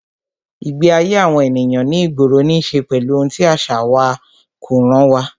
Ìgbé ayé àwọn ènìyàn ní ìgboro ní ṣe pẹ̀lú ohun tí àṣà wa, kó ràn wá